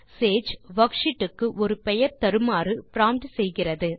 Sage worksheet க்கு ஒரு பெயர் தருமாறு ப்ராம்ப்ட் செய்கிறது